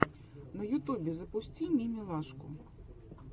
на ютубе запусти мимилашку